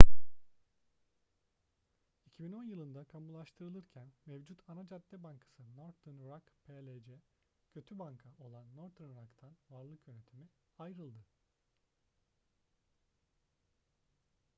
2010 yılında kamulaştırılırken mevcut ana cadde bankası northern rock plc kötü banka olan northern rock'tan varlık yönetimi ayrıldı